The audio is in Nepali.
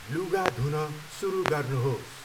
लुगा धुन सुरु गर्नुहोस्।